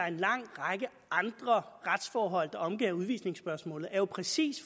en lang række andre retsforhold der omgærder udvisningsspørgsmålet er jo præcis